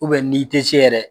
ni i te se yɛrɛ